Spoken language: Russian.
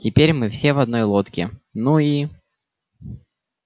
теперь мы все в одной лодке ну и